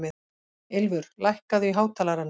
Ylfur, lækkaðu í hátalaranum.